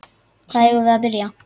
Hvar eigum við að byrja?